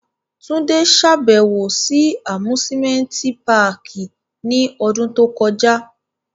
Tunde ṣabẹwo si Amusimenti pààki ni ọdun to kọja